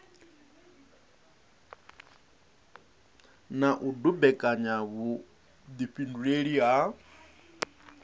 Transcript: na u dumbekanya vhuifhinduleli ha